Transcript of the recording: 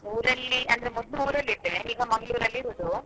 ಊರಲ್ಲಿ ಅಂದ್ರೆ ಮೊದ್ಲು ಊರಲ್ಲಿ ಇದ್ದೆ ಈಗ Mangalore ಅಲ್ಲಿ ಇರುದು.